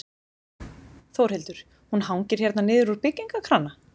Þórhildur: Hún hangir hérna niður úr byggingakrana?